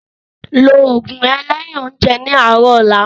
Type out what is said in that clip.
Ló oògùn rẹ lẹ́yin oúnjẹ ní àárọ̀ ọ̀la